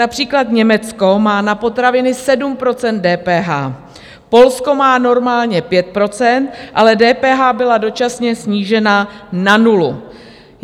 Například Německo má na potraviny 7 % DPH, Polsko má normálně 5 %, ale DPH byla dočasně snížena na nulu.